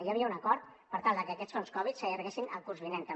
hi havia un acord per tal de que aquests fons covid s’allarguessin el curs vinent també